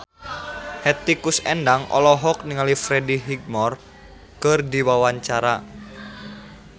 Hetty Koes Endang olohok ningali Freddie Highmore keur diwawancara